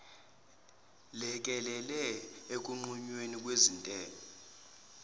lekelele ekunqunyweni kwezintela